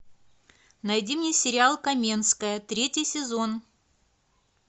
найди мне сериал каменская третий сезон